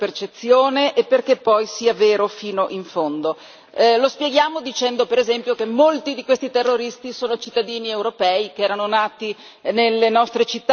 Lo spieghiamo dicendo, per esempio, che molti di questi terroristi sono cittadini europei che erano nati nelle nostre città, cresciuti nei nostri quartieri.